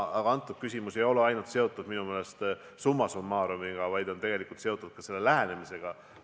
Aga see küsimus ei olegi seotud minu meelest ainult summa summarum'iga, vaid ka üldise lähenemisviisiga.